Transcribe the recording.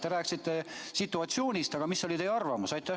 Te rääkisite situatsioonist, aga mis oli teie arvamus?